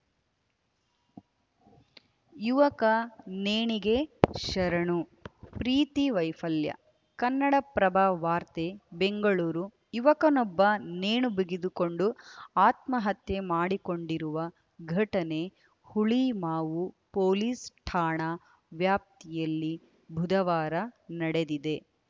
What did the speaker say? ಯುವಕ ನೇಣಿಗೆ ಶರಣು ಪ್ರೀತಿ ವೈಫಲ್ಯ ಕನ್ನಡಪ್ರಭ ವಾರ್ತೆ ಬೆಂಗಳೂರು ಯುವಕನೊಬ್ಬ ನೇಣು ಬಿಗಿದುಕೊಂಡು ಆತ್ಮಹತ್ಯೆ ಮಾಡಿಕೊಂಡಿರುವ ಘಟನೆ ಹುಳಿಮಾವು ಪೊಲೀಸ್‌ ಠಾಣಾ ವ್ಯಾಪ್ತಿಯಲ್ಲಿ ಬುಧವಾರ ನಡೆದಿದೆ